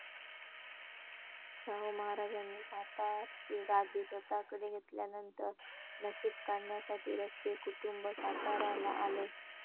शाहू महाराजांनी सातारची गादी स्वतःकडे घेतल्यानंतर नशीब काढण्यासाठी रस्ते कुटुंब साताराला आले.